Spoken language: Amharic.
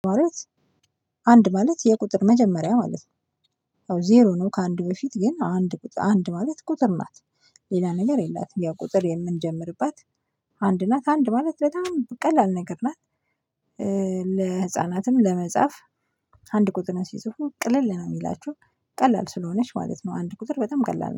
አንድ ማለት የቁጥር መጀመሪያ ማለት ነው ዜሮ ነው ከአንድ በፊት ግን አንድ አንድ ማለት ቁጥር ናት። ሌላ ነገር የላትም ያ ቁጥር የምንጀምርባት አንድ ናት አንድ ማለት በጣም በቀላል ነገር ናት፣ ለህፃናትም ለመጻፍ አንድ ቁጥርን ሲጽፉ ቅልል ነው የሚላቸው ቀላል ስለሆነች ማለት ነው አንድ ቁጥር በጣም ቀላል ነው።